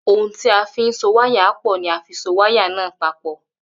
Ohun tí a fín so wáyà pò ni a fi so wáyà náà papò